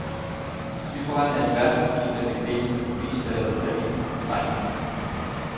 Vi er på randen af en verdensomspændende krise med prisfald og kreditindskrænkning.